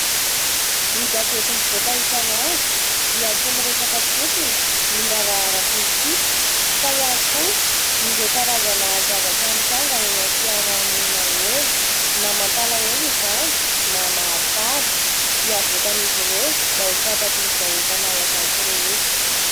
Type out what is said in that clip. Ny gazety mivoaka isanandro dia tsy miresaka fotsiny ny raharaha ara-politika fa ihany koa ireo karazana zavatra mitranga eny amin'ny fiarahamonina eny. Na mampalahelo izany na mahafaly dia avoakan'izy ireo mba ho fantatry ny vahoaka Malagasy rehetra.